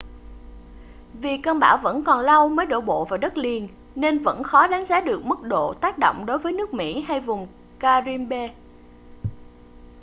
vì cơn bão vẫn còn lâu mới đổ bộ vào đất liền nên vẫn khó đánh giá được mức độ tác động đối với nước mỹ hay vùng caribbean